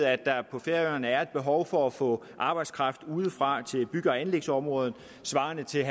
at der på færøerne er et behov for at få arbejdskraft udefra til bygge og anlægsområdet svarende til